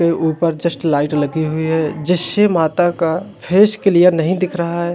के ऊपर just light लगी हुई है जश्शे माता का फेस क्लियर नहीं दिख रहा है।